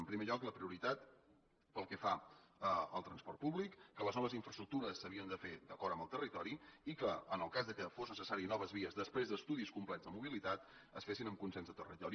en primer lloc la prioritat pel que fa al transport públic que les noves infraestructures s’havien de fer d’acord amb el territori i que en el cas que fossin necessàries noves vies després d’estudis complets de mobilitat es fessin amb consens del territori